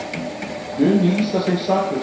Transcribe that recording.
Mun lýsa sig saklausan